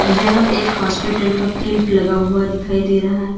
यह एक हॉस्पिटल का कैंप लगा हुआ दिखाई दे रहा है।